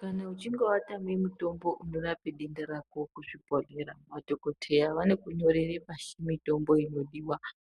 Kana uchinge watame mitombo unorape denda rako kuzvibhodhlera madhokodheya vanokunyorere pashi mitombo inodiwa